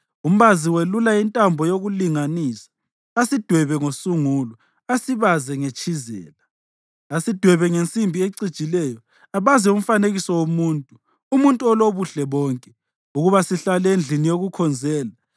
Umbazi welula intambo yokulinganisa asidwebe ngosungulo, asibaze ngetshizela, asidwebe ngensimbi ecijileyo, abaze umfanekiso womuntu, umuntu olobuhle bonke, ukuba sihlale endlini yokukhonzela.